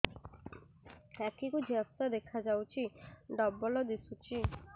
ଆଖି କୁ ଝାପ୍ସା ଦେଖାଯାଉଛି ଡବଳ ଦିଶୁଚି